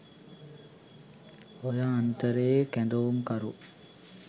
ඔය අන්තරේ කැදවුම්කරු